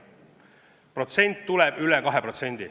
Protsent tuleb üle kahe.